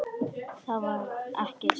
Það var ekki satt.